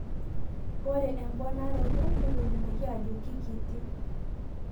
ore emponaroto netolimuoki ajo kikiti.